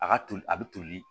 A ka toli a bɛ toli